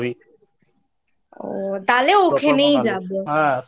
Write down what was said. তাহলে ওখানেই যাব।